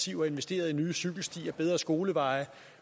og investeret i nye cykelstier og bedre skolevej